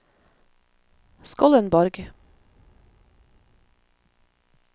Skollenborg